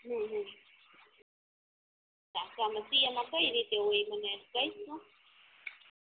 હ હ તો આમા સીએ માં કઈ રીતે હોય મને કઇશ તું